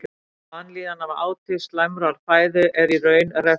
Vanlíðan af áti slæmrar fæðu er í raun refsing.